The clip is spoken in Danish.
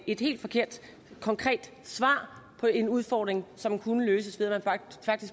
et helt forkert konkret svar på en udfordring som kunne løses ved at man